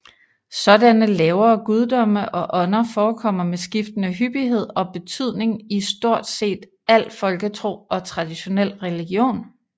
Sådanne lavere guddomme og ånder forekommer med skiftende hyppighed og betydning i stort set al folketro og traditionel religion